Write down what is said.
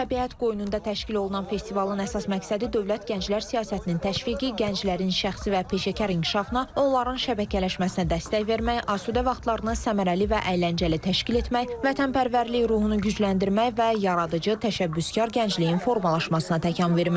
Təbiət qoynunda təşkil olunan festivalın əsas məqsədi dövlət gənclər siyasətinin təşviqi, gənclərin şəxsi və peşəkar inkişafına, onların şəbəkələşməsinə dəstək vermək, asudə vaxtlarını səmərəli və əyləncəli təşkil etmək, vətənpərvərlik ruhunu gücləndirmək və yaradıcı, təşəbbüskar gəncliyin formalaşmasına təkan verməkdir.